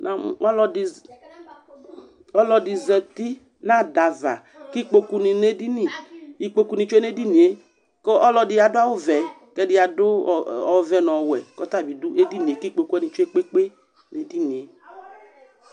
Namʋ ɔlɔdɩ za ɔlɔdɩ zati nʋ ada ava kʋ atɛ ikpokunɩ nʋ edini Ikpokunɩ tsue nʋ edini yɛ kʋ ɔlɔdɩ adʋ awʋvɛ kʋ ɛdɩ adʋ ɔ ɔvɛ nʋ ɔwɛ kʋ ɔta bɩ edini kʋ ikpoku tsue kpe-kpe-kpe nʋ edini yɛ